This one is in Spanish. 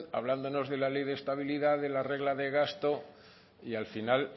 hablándonos de la ley de estabilidad de la regla de gasto y al final